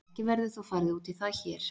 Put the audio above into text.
Ekki verður þó farið út í það hér.